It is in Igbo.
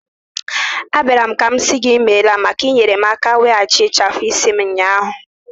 Abịara m ka m sị gị imela maka inyere m aka weghachi ịchafu isi m ụnyahụ.